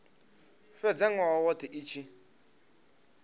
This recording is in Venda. fhedza nwaha wothe i tshi